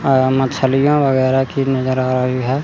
आ मछलियां वगैरा की नजर आ रही है।